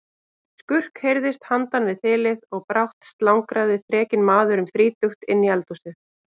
Skurk heyrðist handan við þilið og brátt slangraði þrekinn maður um þrítugt inn í eldhúsið.